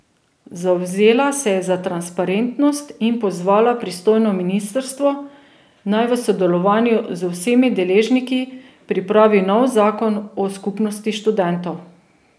Zavzela se je za transparentnost in pozvala pristojno ministrstvo, naj v sodelovanju z vsemi deležniki pripravi nov zakon o skupnosti študentov.